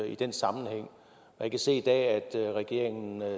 i den sammenhæng jeg kan se i dag at regeringen